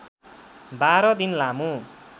१२ दिन लामो